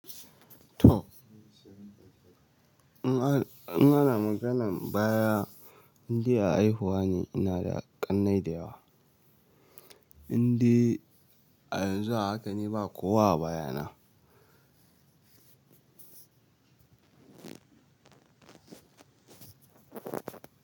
To in an in ana maganan baya indai a haihuwa ne ina da ƙannai da yawa. Inde a yanzu haka ne ba kowa a baya na.